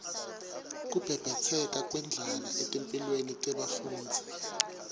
kubhebhetseka kwendlala etimphilweni tebafundzi